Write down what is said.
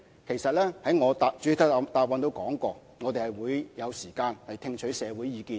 其實，我在主體答覆中也說過，我們會有時間聽取社會意見。